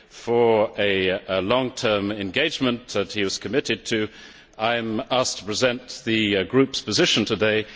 for a long term engagement that he was committed to, I am asked to present the group's position today.